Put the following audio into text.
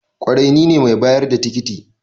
kwarai nine mai bayar da tikiti